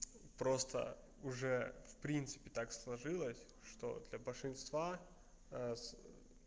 просто уже в принципе так сложилось что для большинства с